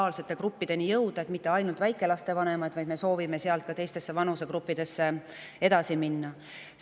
Me mitte ainult väikelaste vanemaid, vaid me soovime sealt ka teistesse vanusegruppidesse edasi minna.